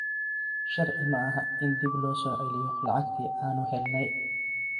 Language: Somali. Sharci maaha in dib loo soo celiyo lacagtii aanu helnay.